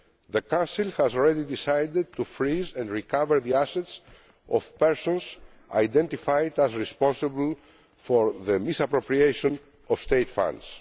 The Council has already decided to freeze and recover the assets of persons identified as being responsible for the misappropriation of state